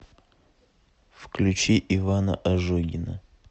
включи ивана ожогина